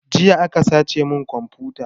Jiya aka sace mun komfuta